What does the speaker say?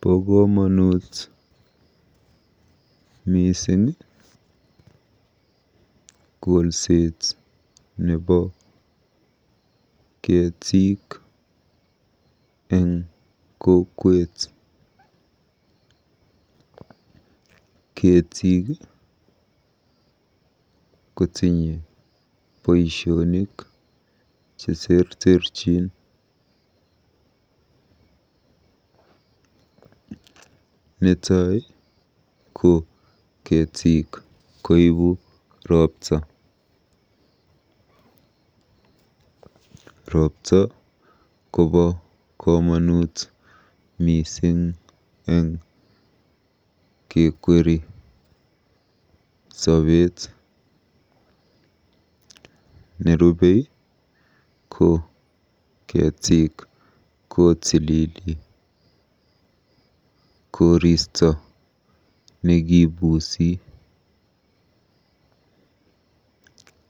Bo komonut mising kolset nebo keetik eng kokwet. Keetik kotinye boisionik cheterterchin eng kokwet. Netai ko keetik koibu ropta. Ropta kobo komonut mising eng kekweri sobet. Nerupei ko keetik kotilili koristo nekibuusi.